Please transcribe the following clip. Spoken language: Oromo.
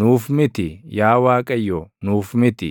Nuuf miti; yaa Waaqayyo, nuuf miti;